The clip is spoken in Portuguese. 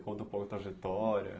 Conta um pouco a trajetória?